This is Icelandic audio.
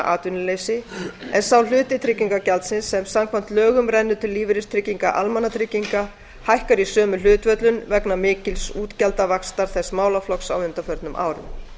atvinnuleysi en sá hluti tryggingagjaldsins sem samkvæmt lögum rennur til lífeyristrygginga almannatrygginga hækkar í sömu hlutföllum vegna mikils útgjaldavaxtar þess málaflokks á undanförnum árum